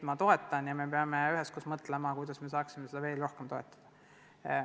Ja me peame üheskoos mõtlema, kuidas saaks seda protsessi veel rohkem toetada.